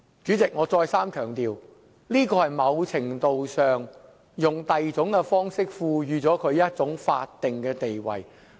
主席，我再三強調，這是在某程度上利用另一種方式，賦予同性婚姻一種法定地位。